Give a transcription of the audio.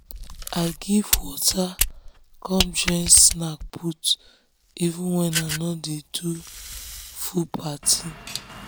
i give water come join snack put even wen i nor de do full party